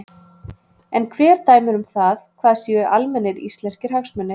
En hver dæmir um það hvað séu almennir íslenskir hagsmunir?